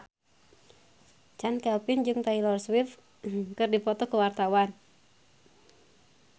Chand Kelvin jeung Taylor Swift keur dipoto ku wartawan